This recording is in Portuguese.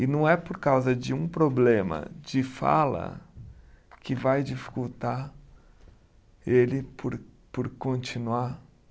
E não é por causa de um problema de fala que vai dificultar ele por por continuar